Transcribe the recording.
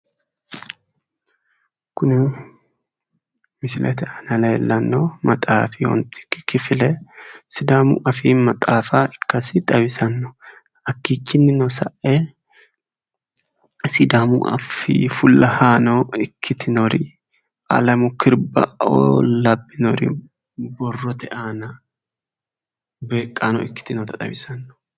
kuni misilete aana leellanno maxaafi ontikki kifile sidaamu afii maaxaafa ikkasi xawisanno hakkichinnino sa'e sidaamu afii fullahaano ikkitinori alemu kiribbaoo labbinori borrote aana beeqqaano ikkitinota xawisanno.